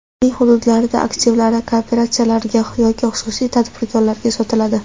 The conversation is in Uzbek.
Uning hududlardagi aktivlari kooperatsiyalarga yoki xususiy tadbirkorlarga sotiladi.